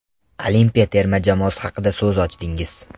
Olimpiya terma jamoasi haqida so‘z ochdingiz.